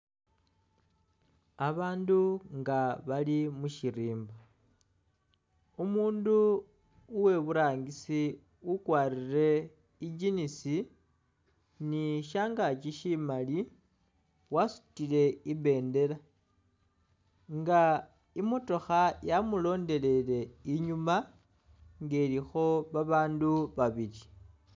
Babaandu nga bali mushirimba umundu uweburangisi ukwalire i'jinisi ni shangaki shimaali wasutile ibendela nga imotokha yamulondelele inyuma nga ilikho babaandu babili